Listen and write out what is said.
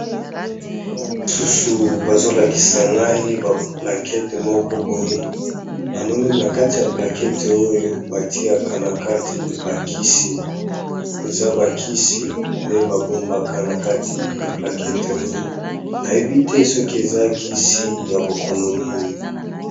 Awa misusu bazo lakisa ngai ba plaquette moko boye na moneli na kati ya plaqette oyo ba tiaka na kati bakisi . Eza ba kisi nde ba bombaka na kati ya plaquette oyo, na yebi te soki eza kisi ya bokono nini .